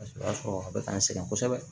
Paseke o y'a sɔrɔ a bɛ k'an sɛgɛn kosɛbɛ